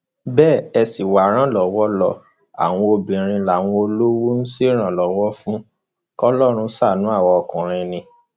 bẹ ẹ sì wá ìrànlọwọ lo àwọn obìnrin làwọn olówó ń ṣèrànlọwọ fún kọlọrun ṣàánú àwa ọkùnrin ni